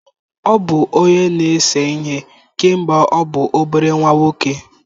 Ọ bụ onye na-ese ihe kemgbe ọ bụ obere nwa nwoke.